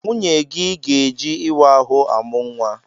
Nwunyegi ga-eji ịwa ahụ amụ nwa.